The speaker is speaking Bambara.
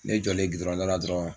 Ne jɔlen dala dɔrɔn.